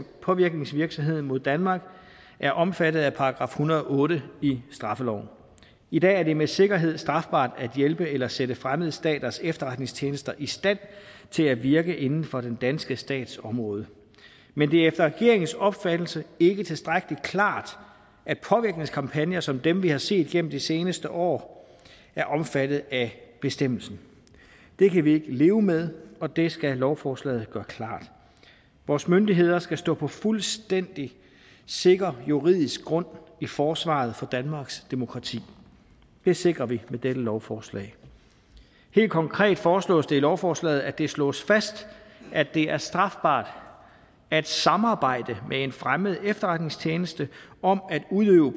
påvirkningsvirksomhed mod danmark er omfattet af § en hundrede og otte i straffeloven i dag er det med sikkerhed strafbart at hjælpe eller sætte fremmede staters efterretningstjenester i stand til at virke inden for den danske stats område men det er efter regeringens opfattelse ikke tilstrækkelig klart at påvirkningskampagner som dem vi har set igennem de seneste år er omfattet af bestemmelsen det kan vi ikke leve med og det skal lovforslaget gøre klart vores myndigheder skal stå på fuldstændig sikker juridisk grund i forsvaret for danmarks demokrati det sikrer vi med dette lovforslag helt konkret foreslås det i lovforslaget at det slås fast at det er strafbart at samarbejde med en fremmed efterretningstjeneste om at udøve